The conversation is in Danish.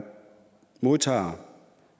modtager